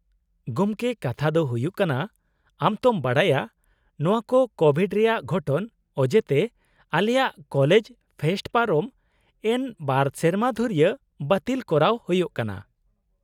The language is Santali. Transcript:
-ᱜᱚᱢᱠᱮ, ᱠᱟᱛᱷᱟ ᱫᱚ ᱦᱩᱭᱩᱜ ᱠᱟᱱᱟ, ᱟᱢ ᱛᱚᱢ ᱵᱟᱰᱟᱭᱟ ᱱᱚᱶᱟ ᱠᱚ ᱠᱳᱵᱷᱤᱰ ᱨᱮᱭᱟᱜ ᱜᱷᱚᱴᱚᱱ ᱚᱡᱮᱛᱮ ᱟᱞᱮᱭᱟᱜ ᱠᱚᱞᱮᱡᱽ ᱯᱷᱮᱥᱴ ᱯᱟᱨᱚᱢ ᱮᱱ ᱒ ᱥᱮᱨᱢᱟ ᱫᱷᱩᱨᱭᱟᱹ ᱵᱟᱹᱛᱤᱞ ᱠᱚᱨᱟᱣ ᱦᱳᱭᱳᱜ ᱠᱟᱱᱟ ᱾